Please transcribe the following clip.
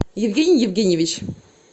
евгений евгеньевич